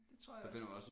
Det tror jeg også